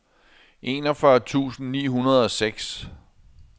enogfyrre tusind ni hundrede og seks